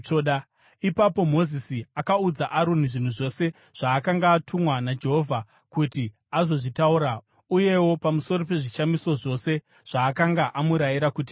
Ipapo Mozisi akaudza Aroni zvinhu zvose zvaakanga atumwa naJehovha kuti azozvitaura, uyewo pamusoro pezvishamiso zvose zvaakanga amurayira kuti aite.